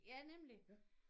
Ja nemlig